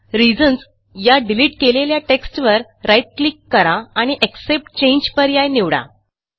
reasons या delete केलेल्या टेक्स्टवर राईट क्लिक करा आणि एक्सेप्ट चांगे पर्याय निवडा